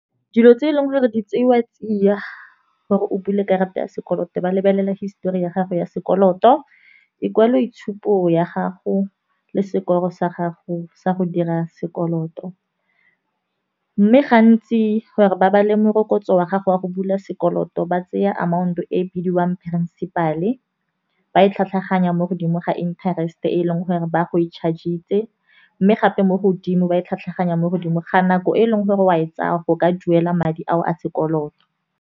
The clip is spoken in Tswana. Dilo tse e leng gore di tseiwa tsiya gore o bule karata ya sekoloto ba lebelela histori ya gago ya sekoloto, ikwaloitshupo ya gago le sekolo sa gago sa go dira sekoloto. Mme gantsi gore ba bale morokotso wa gago wa go bula sekoloto ba tseya amount e bidiwang principal-e, ba e tlhatlhaganya mo godimo ga interest e e leng gore ba go e charge-itse. Mme gape mo godimo ba e tlhatlhanya mo godimo ga nako e e leng gore wa e tsaya go ka duela madi ao a sekoloto.